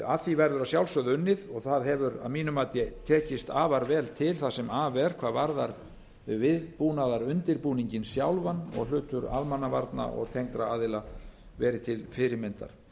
að því verður að sjálfsögðu unnið og það hefur að mínu mati tekist afar vel til hvað varðar viðbúnaðarundirbúninginn sjálfan og hlutur almannavarna og tengdra aðila verið til fyrirmyndar